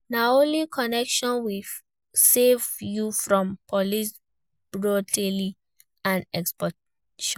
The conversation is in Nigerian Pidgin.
Na only connection fit save you from police brutality and extortion.